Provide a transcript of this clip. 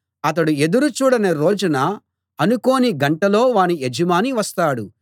అతడు ఎదురు చూడని రోజున అనుకోని గంటలో వాని యజమాని వస్తాడు